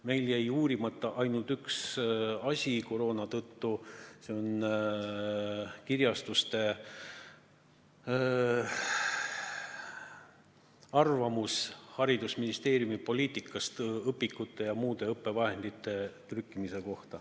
Meil jäi uurimata ainult üks asi, koroona tõttu, see on kirjastuste arvamus haridusministeeriumi poliitika kohta õpikute ja muude õppevahendite trükkimisel.